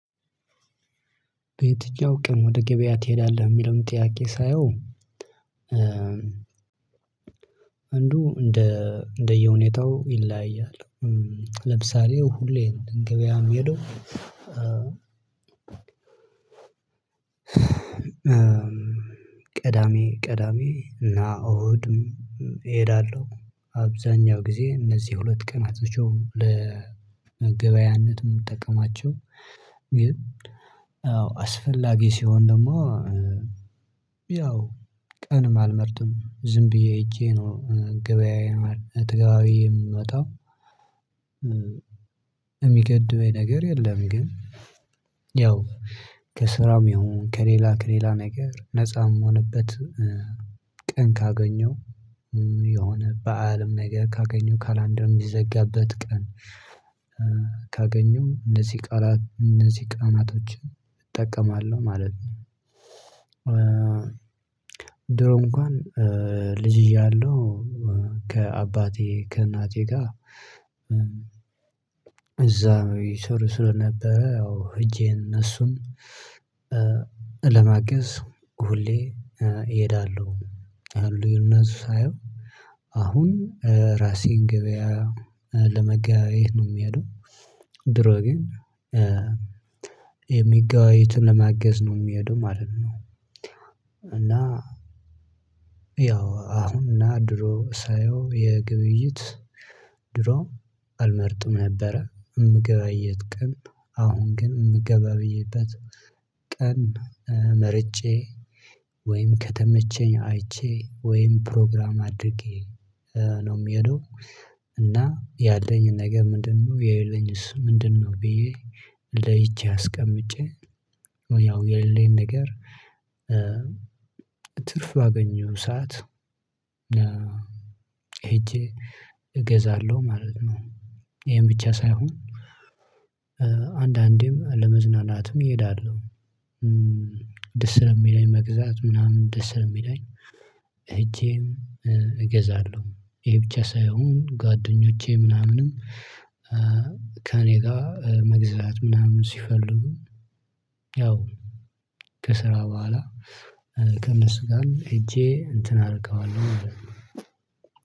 ቤት እጃው ቀን ወደ ገበያ ትሄዳለህ የሚለውን ጥያቄ ሳየው አንዱ እንደ እንደየሁኔታው ይለያያል። ለምሳሌ ሁሌም እንገባለን የሚሄደው ቅዳሜ ቅዳሜ እና እሁድ እሄዳለሁ አብዛኛው ጊዜ እነዚህ ሁለት ቀናቶች ለመገበያያነት የምንጠቀማቸው። ግን አዎ አስፈላጊ ሲሆን ደግሞ ያው ቀንም አልመርጥም ዝም ብዬ ሄጄ ነው ገበያዬን ማለት ተገበባብየ የምመጣው የሚገድበኝ ነገር የለም። ግን ያው ከስራም ይሁን ከሌላ ከሌላ ነገር ነፃ ምሆንበት ቀን ካገኘው የሆነ በዓልም ነገር ካገኘው ካላንደር የሚዘጋበት ቀን ካገኘው እነዚህ ቃላት እነዚህ ቀናቶችን እጠቀማለሁ ማለት ነው። ድሮ እንኳን ልጅ እያለሁ ከአባቴ ከእናቴ ጋር እዛ ይሰሩ ስለነበረ ያው ህጄ እነሱን ለማገዝ ሁሌ እሄዳለሁ አሉኝ እና ሳየው አሁን ራሴን ገበያ ለመገበያየት ነው የምሄደው። ድሮ ግን የሚገበያዩትን ለመገዝ ነው የሚሄደው ማለት ነው። እና ያው አሁን እና ድሮ ሳየው የግብይት ድሮ አልመርጥም ነበረ። የምገበያይበት ቀን አሁን ግን እምገበያይበት ቀን መርጬ ወይም ከተመቸኝ አይቼ ወይም ፕሮግራም አድርጌ ነው የምሄደው። እና ያለኝን ነገር ምንድነው የሌለኝስ ምንድነው? ብዬ ለይቼ አስቀምጬ ያው የሌለኝ ነገር ትርፍ ባገኘው ሰዓት ሄጄ እገዛለሁ ማለት ነው። ይሄን ብቻ ሳይሆን አንዳንዴም ለመዝናናትም እሄዳለሁ። ደስ ስለሚለኝ መግዛት ምናምን ደስ ስለሚለኝ። ሄጄም እገዛለሁ ይሄ ብቻ ሳይሆን ጓደኞቼ ምናምንም ከእኔ ጋር መግዛት ምናምን ሲፈልጉ ያው ከስራ በኋላ ከነሱጋም ሄጄ እንትን አደርገዋለሁ።